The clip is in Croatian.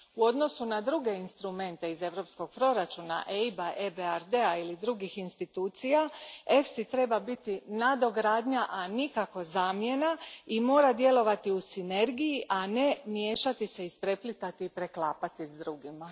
U odnosu na druge instrumente iz Europskog proračuna, EIB a, EBRD a ili drugih institucija, EFSI treba biti nadogradnja, a nikako zamjena, i mora djelovati u sinergiji, a ne miješati se, ispreplitati i preklapati s drugima.